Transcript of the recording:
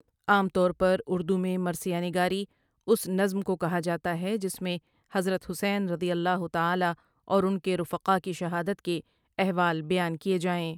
عام طور پر اردو میں مرثیہ نگاری اس نظم کو کہا جاتا ہے جس میں حضرت حسین رضی اللہ تعالی اور ان کے رفقاء کی شہادت کے احوال بیان کیے جائیں ۔